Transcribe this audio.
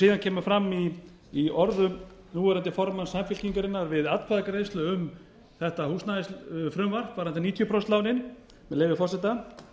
síðan kemur fram í orðum núverandi formanns samfylkingarinnar við atkvæðagreiðslu um þetta húsnæðisfrumvarp varðandi níutíu prósent lánin með leyfi forseta